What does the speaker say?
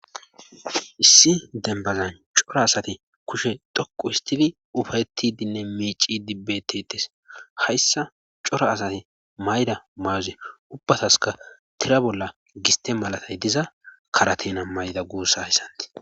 issi denbazan cora asati kushe dhoqu histidi ufayettidinne miicidi bbetites hayssa cora asati mayda mayuze ubbataska tira bolla giste malatay diza karatena mayda guussa hessantii